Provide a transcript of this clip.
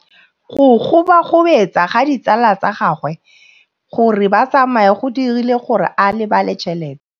Go gobagobetsa ga ditsala tsa gagwe, gore ba tsamaye go dirile gore a lebale tšhelete.